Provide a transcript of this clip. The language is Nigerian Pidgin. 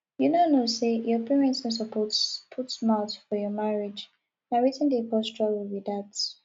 you no know say your parents no suppose put mouth for your marriage na wetin dey cause trouble be dat